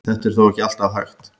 Þetta er þó ekki alltaf hægt.